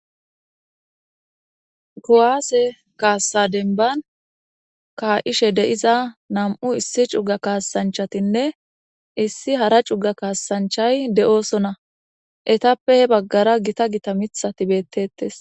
kowaase kaassa denban ka7ishe de'iza nam'u issi cuga kaasanchatinne issi hara cuga kaasanchay de7oosona etappe he baggara gita gita mitha tibettettes.